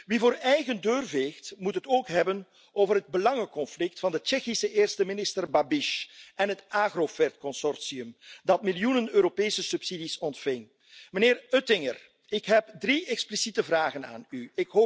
Wie voor eigen deur veegt, moet het ook hebben over het belangenconflict van de Tsjechische eerste minister Babiš en het Agrofert consortium dat miljoenen Europese subsidies ontving. Meneer Oettinger, ik heb drie expliciete vragen aan u.